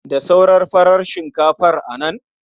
Da sauran farar shinkafar nan?